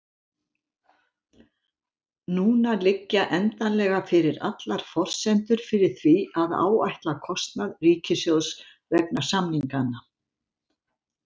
Núna liggja endanlega fyrir allar forsendur fyrir því að áætla kostnað ríkissjóðs vegna samninganna.